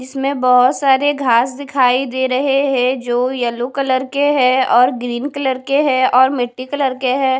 इसमें बहोत सारे घास दिखाई दे रहे हैं जो येलो कलर के है और ग्रीन कलर के हैं और मिट्टी कलर के हैं।